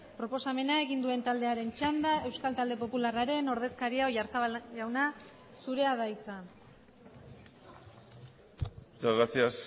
proposamena egin duen taldearen txanda euskal talde popularraren ordezkaria oyarzabal jauna zurea da hitza muchas gracias